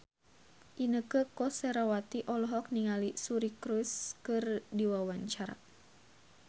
Inneke Koesherawati olohok ningali Suri Cruise keur diwawancara